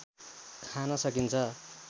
खान सकिन्छ